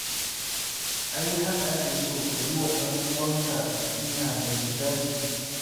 Ai haka ake so ka yi wa ɗanuwanka nasiha mai shiga jiki